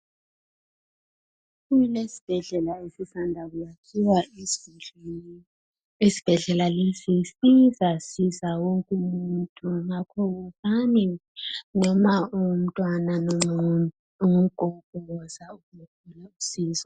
Kulesibhedlela esisanda kuyakhiwa. Isibhedlela lesi sizasiza wonke umuntu. Ngakho wozani noma ungumntwana, noma ungugogo. Woza uzethola usizo.